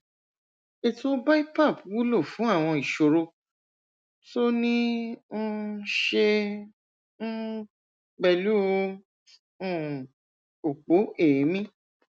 ètò bipap wúlò fún àwọn ìṣòro tó níí um ṣe um pẹlú um òpó èémí